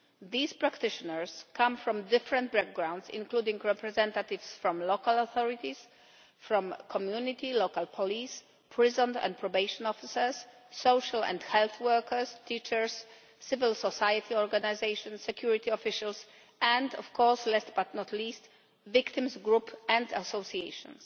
These practitioners come from different backgrounds, including representatives from local authorities, from the community and local police, prison and probation officers, social and health workers, teachers, civil society organisations, security officials and, last but not least, victims groups and associations.